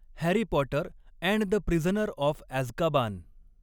Harry Potter and the prisoner of Azkaban